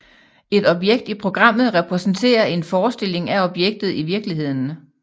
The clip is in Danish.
Et objekt i programmet repræsenterer en forestilling af objektet i virkeligheden